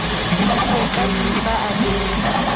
po ka dimpa a be